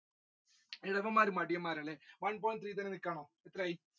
ചിലവന്മാർ മടിയന്മാർ ആണ് അല്ലെ